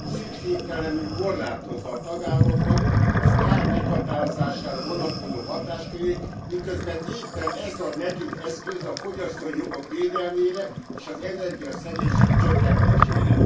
Szükségtelenül korlátozzák a tagállamoknak az ár meghatározására vonatkozó hatáskörét, miközben éppen ez ad nekik eszközt a fogyasztói jogok védelmére és az energiaszegénység csökkentésére.